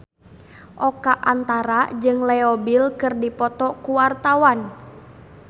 Oka Antara jeung Leo Bill keur dipoto ku wartawan